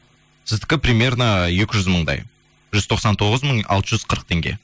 сіздікі примерно екі жүз мыңдай жүз тоқсан тоғыз мың алты жүз қырық теңге